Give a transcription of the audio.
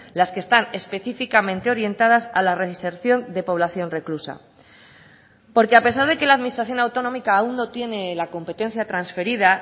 las que están específicamente orientadas a la reinserción de población reclusa porque a pesar de que la administración autonómica aún no tiene la competencia transferida